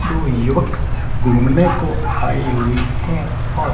दो युवक घूमने को आई हुई हैं और--